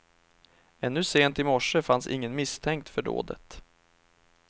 Ännu sent i morse fanns ingen misstänkt för dådet.